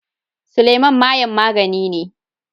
Suleman mayen magani ne.